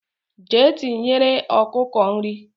Jee tinyere okuku nri